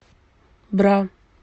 бра